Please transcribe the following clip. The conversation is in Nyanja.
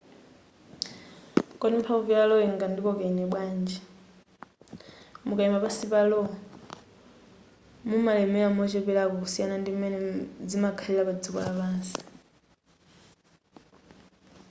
kodi mphamvu ya lo ingandikoke ine bwanji mukayima pansi pa lo mumalemera mocheperako kusiyana ndi m'mene zimakhalira padziko lapansi